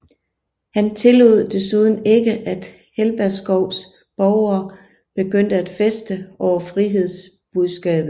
Han tillod desuden ikke at Helberskovs borgere begyndte at feste over frihedsbudskabet